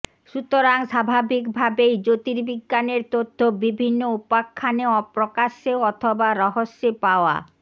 সুতরাং স্বাভাবিকভাবেই জ্যোতিবিজ্ঞানের তথ্য বিভিন্ন উপাখ্যানে প্রকাশ্যে অথবা রহস্যে পাওয়া